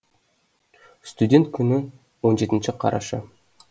студент күні он жетінші қараша